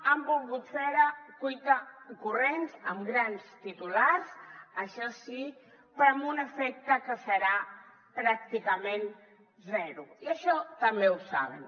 han volgut fer ho a cuitacorrents amb grans titulars això sí però amb un efecte que serà pràcticament zero i això també ho saben